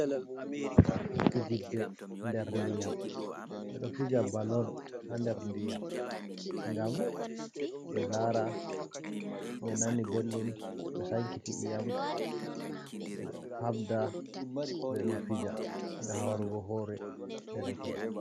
Fijirde nder ndiyam, ɓe ɗo fija bol on haa nder ndiyam ngam ɓe laara, ɓe nani belɗum, ɓe sankiti i'yam, ɓe haɓda ɓe ɗo fija ngam hawrugo hoore dereke'en.